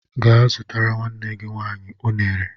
Gee zụtara nwanne gị nwaanyị ụnere!